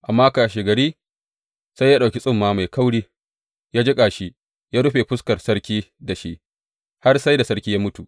Amma kashegari sai ya ɗauki tsumma mai kauri, ya jiƙa shi, ya rufe fuskar sarki da shi, har sai da sarki ya mutu.